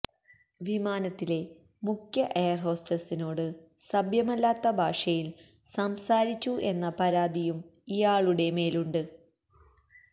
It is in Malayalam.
വിമാനത്തിലെ മുഖ്യ എയര്ഹോസ്റ്റസിനോട് സഭ്യമല്ലാത്ത ഭാഷയില് സംസാരിച്ചു എന്ന പരാതിയും ഇയാളുടെ മേലുണ്ട്